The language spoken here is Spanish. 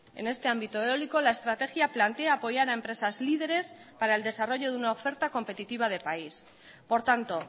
en este ámbito eólico la estrategia plantea apoyar a empresas líderes para el desarrollo de una oferta competitiva de país por tanto